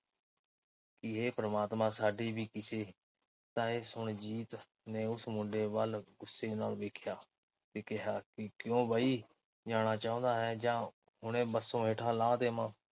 ਕਿ ਹੇ ਪ੍ਰਮਾਤਮਾ ਸਾਡੀ ਵੀ ਕਿਸੇ। ਤਾਂ ਇਹ ਸੁਣ ਜੀਤ ਨੇ ਉਸ ਮੁੰਡੇ ਵੱਲ ਗੁੱਸੇ ਨਾਲ ਵੇਖਿਆ ਕੇ ਕਿਹਾ ਕਿ ਕਿਉਂ ਬਈ ਜਾਣਾ ਚਾਹੁੰਦਾ ਹੈਂ ਜਾਂ ਹੁਣੇ ਬੱਸੋਂ ਹੇਠਾਂ ਲਾਹ ਦੇਵਾਂ।